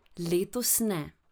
Letos ne.